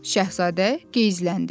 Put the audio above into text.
Şahzadə geyzləndi.